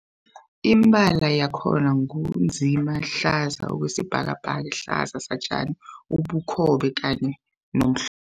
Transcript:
Imibala yakhona ngu nzima, hlaza okwesibhakabhaka, hlaza satjani, ubukhobe kanye nomhl